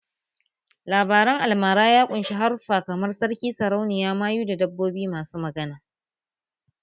Labaren almara ya ƙunshi haruffa kamar sarki, sarauniya, mayu da dabbobi masu magana